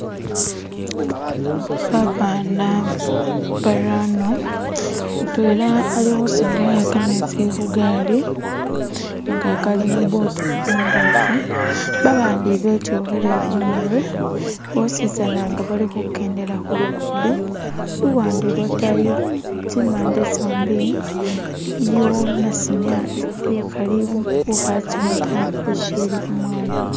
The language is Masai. Babana barano mutwela alikhusindikha kametsi khugali inga kali mubutu imbofu babandi betyukhile khumurwe bosisana nga bali khukendela khulugudo luwande lwatayi tsimande tsombi iliyo nasimya ukhali ukhatsowa ta ushili umwana